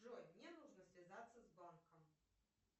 джой мне нужно связаться с банком